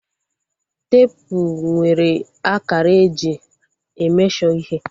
Teepu nwere akara eji e mesho ihe